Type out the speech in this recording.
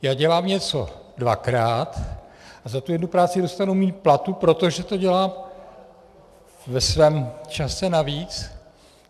Já dělám něco dvakrát a za tu jednu práci dostanu míň platu, protože to dělám ve svém čase navíc.